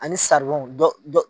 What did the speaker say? Ani dɔ dɔ.